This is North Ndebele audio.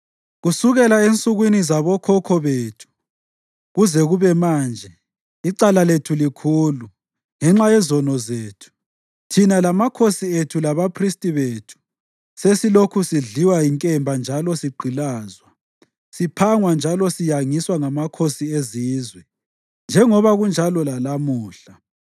Kusukela ensukwini zabokhokho bethu kuze kube manje, icala lethu likhulu. Ngenxa yezono zethu, thina lamakhosi ethu labaphristi bethu sesilokhu sidliwa yinkemba njalo sigqilazwa, siphangwa njalo siyangiswa ngamakhosi ezizwe, njengoba kunjalo lalamuhla.